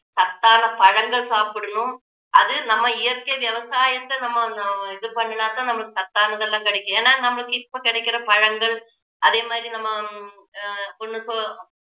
சத்தான பழங்கள் சாப்பிடணும் அது நம்ம இயற்கை விவசாயத்தை நம்ம இது பண்ணினாதான் நம்மளுக்கு சத்தானது எல்லாம் கிடைக்கும் ஏன்னா இப்போ கிடைக்கிற பழங்கள் அதே மாதிரி நம்ம ஆஹ் ஹம் ஒண்ணு சொ~